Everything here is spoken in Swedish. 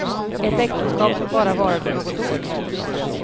Ett äktenskap som bara varade något år.